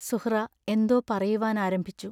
സുഹ്റാ എന്തോ പറയുവാൻ ആരംഭിച്ചു.